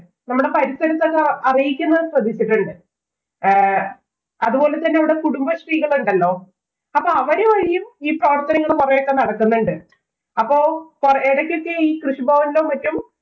നമ്മടെ പരിസരത്തോക്കെ അറിയിക്കുന്നെ ശ്രദ്ധിച്ചിട്ടുണ്ട്. ഏ അതുപോലെ തന്നെ ഇവിടെ കുടുംബശ്രീകളുണ്ടല്ലോ. അപ്പൊ അവര് വഴിയും ഈ പ്രവര്‍ത്തനങ്ങള്‍ കുറെയൊക്കെ നടക്കുന്നുണ്ട്. അപ്പൊ എടക്കൊക്കെ ഈ കൃഷിഭവനിലും, മറ്റും